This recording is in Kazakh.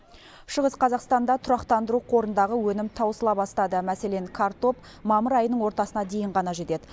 шығыс қазақстанда тұрақтандыру қорындағы өнім таусыла бастады мәселен картоп мамыр айының ортасына дейін ғана жетеді